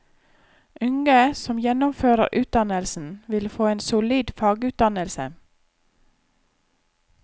Unge som gjennomfører utdannelsen, vil få en solid fagutdannelse.